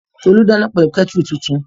Tolú dáná pẹ̀lú kẹ́tùrù tuntun